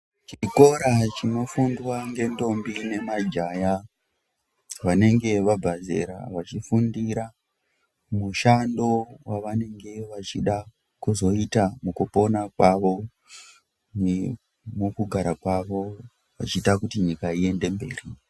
Chikora chinofundwa ngendombi nemajaya vanenge vabva zera vachifundira mushando wavanenge vachida kuzoita mukupona kwavo nemukugara kwavo vachida kuti nyika iende mberi.